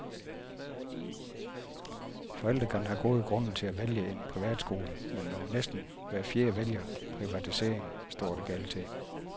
Forældre kan have gode grunde til at vælge en privatskole, men når næsten hver fjerde vælger privatisering, står det galt til.